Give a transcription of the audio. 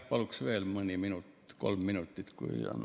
Paluksin veel mõni minut, kolm minutit, kui on aega.